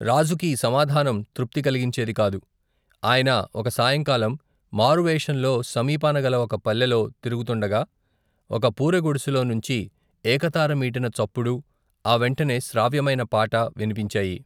రాజుకీ సమాధానం తృప్తి కలిగించేది కాదు, ఆయన, ఒక సాయంకాలం, మారువేషంలో, సమీపాన గల ఒక పల్లెలో, తిరుగుతుండగా, ఒక పూరిగుడెసెలో నుంచి, ఏకతార మీటిన చప్పుడూ, ఆ వెంటనే, శ్రావ్యమైన పాట వినిపించాయి.